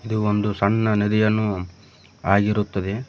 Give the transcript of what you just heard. ಇದು ಒಂದು ಸಣ್ಣ ನದಿಯನ್ನು ಆಗಿರುತ್ತದೆ.